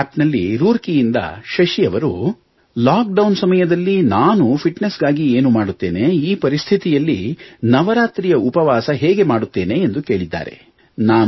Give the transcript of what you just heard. ನಮೋ app ನಲ್ಲಿ ರೂರ್ಕಿ ಯಿಂದ ಶಶಿ ಅವರು ಲಾಕ್ಡೌನ್ ಸಮಯದಲ್ಲಿ ನಾನು ನನ್ನ ಫಿಟ್ನೆಸ್ ಗಾಗಿ ಏನು ಮಾಡುತ್ತೇನೆ ಈ ಪರಿಸ್ಥಿತಿಯಲ್ಲಿ ನವರಾತ್ರಿಯ ಉಪವಾಸ ಹೇಗೆ ಮಾಡುತ್ತೇನೆ ಎಂದು ಕೇಳಿದ್ದಾರೆ